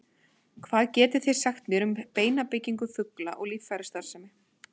Hvað getið þið sagt mér um beinabyggingu fugla og líffærastarfsemi?